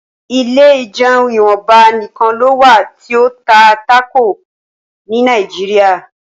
ilé ìjeun ìwọnba nìkàn ló wá ti o tá Taco ní Nàìjíríà.